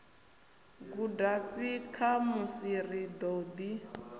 gudafhi khamusi ri ḓo ḓi